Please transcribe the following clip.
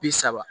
Bi saba